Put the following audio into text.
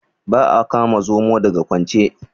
Ba a kama Zomo daga kwance.